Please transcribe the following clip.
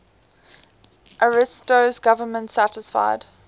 ariosto's government satisfied